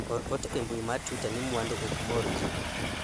or ote e mbui mar twita ni mwandu ok mor jii